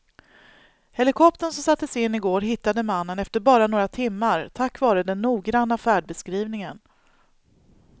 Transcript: Helikoptern som sattes in i går hittade mannen efter bara några timmar tack vare den noggranna färdbeskrivningen.